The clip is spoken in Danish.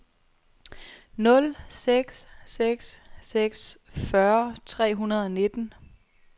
nul seks seks seks fyrre tre hundrede og nitten